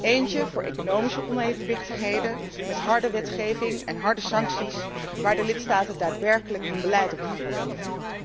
Eentje voor economische onevenwichtigheden, met harde wetgeving en harde sancties, waar de lidstaten daadwerkelijk hun beleid op gaan baseren.